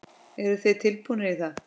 Eru þið tilbúnir í það?